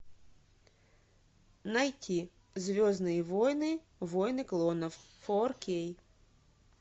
найти звездные войны войны клонов фор кей